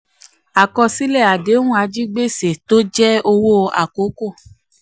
àkọsílẹ̀ àdéhùn ajigbèsè tó jẹ́ owó àkókò.